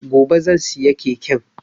Gobe zan siya keken